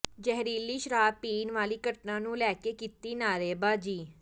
ਜ਼ਹਿਰੀਲੀ ਸ਼ਰਾਬ ਪੀਣ ਵਾਲੀ ਘਟਨਾ ਨੂੰ ਲੈ ਕੇ ਕੀਤੀ ਨਾਅਰੇਬਾਜ਼ੀ